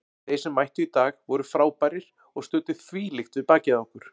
Þeir sem mættu í dag voru frábærir og studdu þvílíkt við bakið á okkur.